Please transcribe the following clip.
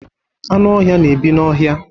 Anụ ọhia na-ebi n'ọhia.